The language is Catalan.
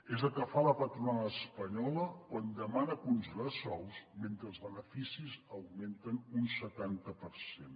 és el que fa la patronal espanyola quan demana congelar sous mentre els beneficis augmenten un setanta per cent